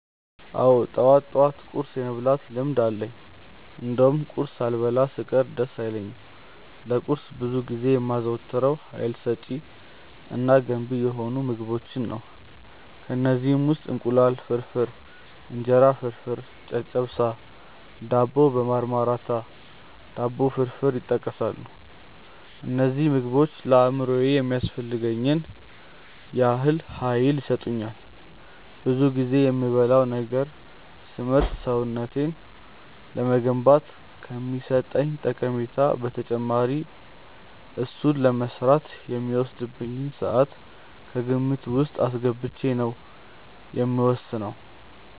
አዎ ጠዋት ጠዋት ቁርስ የመብላት ልምድ አለኝ እንደውም ቁርስ ሳልበላ ስቀር ደስ አይለኝም። ለቁርስ ብዙ ጊዜ የማዘወትረው ሀይል ሰጪ እና ገንቢ የሆኑ ምግቦችን ነው። ከእነዚህም ውስጥ እንቁላል ፍርፍር፣ እንጀራ ፍርፍር፣ ጨጨብሳ፣ ዳቦ በማርማራታ፣ ዳቦ ፍርፍር ይጠቀሳሉ። እነዚህ ምግቦች ለአእምሮዬ የሚያስፈልገኝን ያህል ሀይል ይሰጡኛል። ብዙ ጊዜ የምበላውን ነገር ስመርጥ ሰውነቴን ለመገንባት ከሚሰጠኝ ጠቀሜታ በተጨማሪ እሱን ለመስራት የሚወስድብኝን ስዓት ከግምት ውስጥ አስገብቼ ነው የምወስነው።